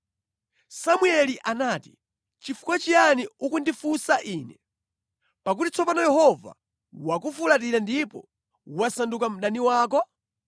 Samueli anati, “Nʼchifukwa chiyani ukundifunsa ine, pakuti tsopano Yehova wakufulatira ndipo wasanduka mdani wako?